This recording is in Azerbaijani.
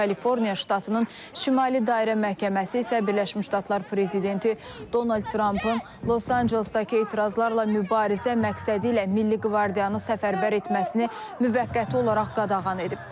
Kaliforniya ştatının şimali dairə məhkəməsi isə Birləşmiş Ştatlar prezidenti Donald Trampın Los Ancelesdəki etirazlarla mübarizə məqsədi ilə milli qvardiyanı səfərbər etməsini müvəqqəti olaraq qadağan edib.